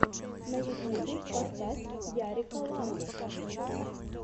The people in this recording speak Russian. на ютубе поставь ярика лапу